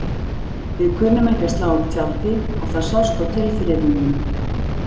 Við kunnum ekki að slá upp tjaldi og það sást á tilþrifunum.